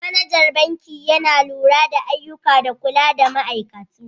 Managan banki Yana lura da ayyukan da kula da ma'aikatu.